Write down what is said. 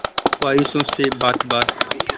हो ख्वाहिशों से बात बात